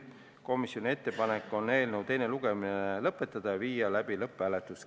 Komisjoni ettepanek on teine lugemine lõpetada ja panna eelnõu lõpphääletusele.